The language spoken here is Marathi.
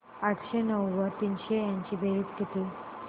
आठशे नऊ व तीनशे यांची बेरीज किती